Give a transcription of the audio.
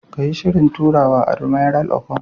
Kayi Shirin turawa, Admiral Okon,